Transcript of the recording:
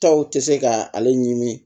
Taw tɛ se ka ale ɲini